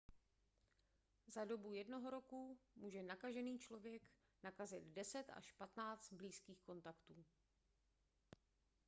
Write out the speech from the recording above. za dobu jednoho roku může nakažený člověk nakazit 10 až 15 blízkých kontaktů